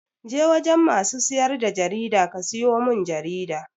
Je wajen masu siyar da jarida ka siyo mun jarida!